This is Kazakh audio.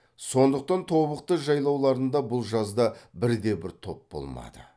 сондықтан тобықты жайлауларында бұл жазда бір де бір топ болмады